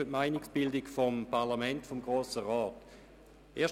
Der Regierungsrat bildet sich eine Meinung und verabschiedet ein Geschäft.